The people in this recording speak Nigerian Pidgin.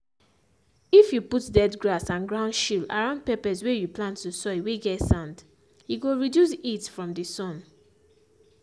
if you put dead grass and ground sheel around peppers whey you plans to soil whey get sand he go reduce heat from the sun